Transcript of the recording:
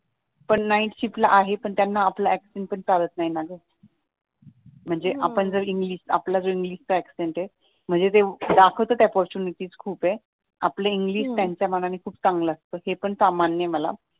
नाईटशिपला आहे पण त्यांना आपलं accent पण चालत नाही ना ग म्हणजे हम्म आपण जे इंग्लिश आपला जो इंग्लिशचा accent आहे म्हणजे ते दाखवतात अपॉर्च्युनिटी खूप आहे हम्म आपलं इंग्लिश त्यांच्या मानाने खूप चांगलं असत हे पण मान्य आहे मला